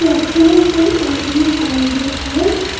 Excellence in early childhood है।